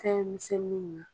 Fɛn misɛnninw na.